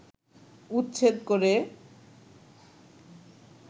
উচ্ছেদ করে